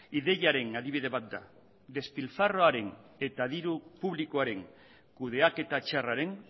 ideiaren adibide bat da despilfarroaren eta diru publikoaren kudeaketa txarraren